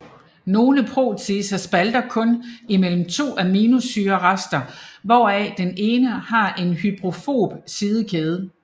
Nogle proteaser spalter kun imellem to aminosyrerester hvoraf den ene har en hydrofob sidekæde